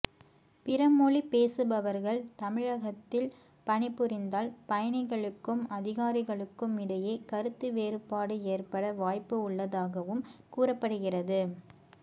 பிறமொழி பேசுபவர்கள் தமிழகத்தில் பணிபுரிந்தால் பயணிகளுக்கும் அதிகாரிகளுக்கு இடையே கருத்து வேறுபாடு ஏற்பட வாய்ப்பு உள்ளதாகவும் கூறப்படுகிறது